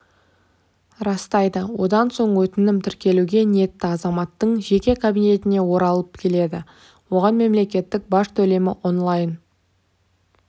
растайды одан соң өтінім тіркелуге ниетті азаматтың жеке кабинетіне оралып келеді оған мемлекеттік баж төлемінонлайн